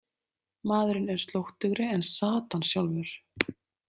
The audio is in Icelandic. Maðurinn er slóttugri en Satan sjálfur.